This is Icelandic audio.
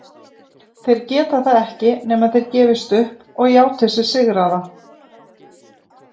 Þeir geta það ekki nema þeir gefist upp og játi sig sigraða.